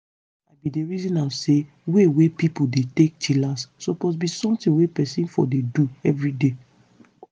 i bin dey reason am say way wey pipo dey take chillax suppose be something peson for dey do everyday.